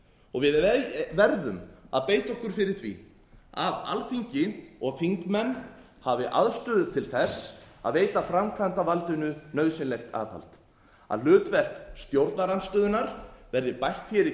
og við verðum að beita okkur fyrir því að alþingi og þingmenn hafi aðstöðu til þess að veita framkvæmdarvaldinu nauðsynlegt aðhald að hlutverk stjórnarandstöðunnar verði bætt hér